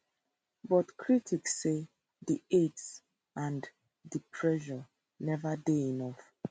but critics say di aid and di pressure neva dey enough